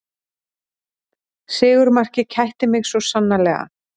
Sigurmarkið kætti mig svo sannarlega